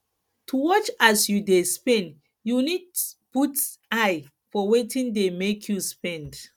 to watch as yu dey spend yu nid put eye for wetin dey mek yu spend